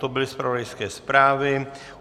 To byly zpravodajské zprávy.